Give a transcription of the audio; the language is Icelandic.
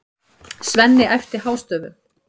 Svenni æpti hástöfum.